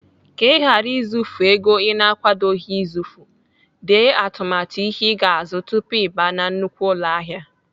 Ka ị ghara izufu ego Ị na-akwadoghị izufu, dee atụmatụ ihe ị ga-azụ tupu Ị baa na nnukwu ụlọahịa.